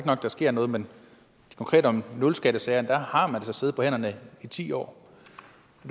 at der sker noget men konkret om nulskattesagerne har siddet på hænderne i ti år